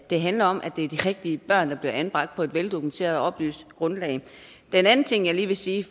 det handler om at det er de rigtige børn der bliver anbragt på et veldokumenteret og oplyst grundlag den anden ting jeg lige vil sige